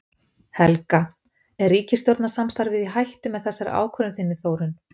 Helga: Er ríkisstjórnarsamstarfið í hættu með þessari ákvörðun þinni Þórunn?